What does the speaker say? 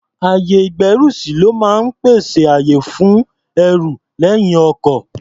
Ayè-ìgbẹ́rùsí ló máa ń pèsè àyè fún ẹrù lẹ́yìn ọkọ̀.